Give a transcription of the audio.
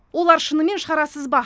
олар шынымен шарасыз ба